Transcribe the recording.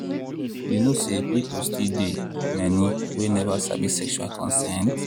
you know say people still dey many we never sabi sexual consent.